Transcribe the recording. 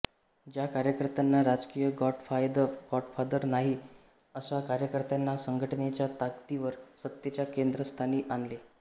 ज्या कार्यकर्त्यांना राजकीय गॉडफादर नाही अशा कार्यकर्त्यांना संघटनेच्या ताकतीवर सत्तेच्या केंद्रस्थानी आणले